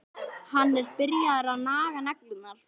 Hann er byrjaður að naga neglurnar.